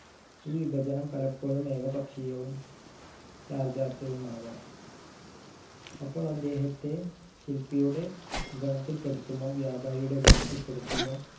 ഈ വിഭജനം പലപ്പോഴും ഏകപക്ഷീയവും യാഥാർഥ്യവുമാവാം അപ്പോൾ അദ്ദേഹത്തെ ശില്പിയുടെ ഗണത്തിൽ പെടുത്തുമോ വ്യാപാരിയുടെ ഗണത്തിൽ പെടുത്തുമോ